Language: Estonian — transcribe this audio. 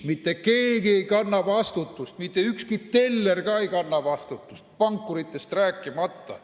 Mitte keegi ei kanna vastutust, mitte ükski teller ei kanna vastutust, pankuritest rääkimata.